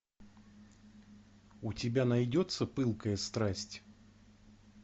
у тебя найдется пылкая страсть